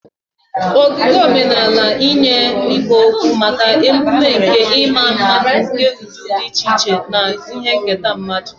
Ogige omenala nyere ikpo okwu maka ememe nke ịma mma nke ụdị dị iche iche na ihe nketa mmadụ.